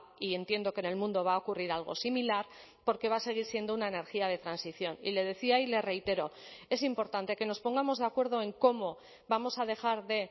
y entiendo que en el mundo va a ocurrir algo similar porque va a seguir siendo una energía de transición y le decía y le reitero es importante que nos pongamos de acuerdo en cómo vamos a dejar de